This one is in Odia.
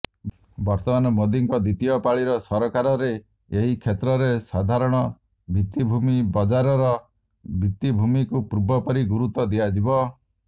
ବର୍ତମାନ ମୋଦିଙ୍କ ଦ୍ୱିତୀୟ ପାଳିର ସରକାରରେ ଏହି କ୍ଷେତ୍ରରେ ସାଧାରଣ ଭିତିଭୂମି ବଜାରର ଭିତିଭୂମିକୁ ପୂର୍ବପରି ଗୁରୁତ୍ୱ ଦିଆଯିବ